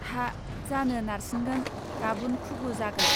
हा जानो नारसिनगोन गाबुन खुगु जागोन